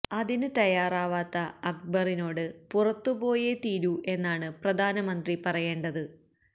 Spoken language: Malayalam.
അതിന് തയ്യാറാവാത്ത അക്ബറിനോട് പുറത്തു പോയേ തീരൂ എന്നാണ് പ്രധാനമന്ത്രി പറയേണ്ടത്